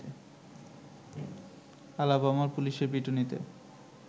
আলাবামার পুলিশের পিটুনিতে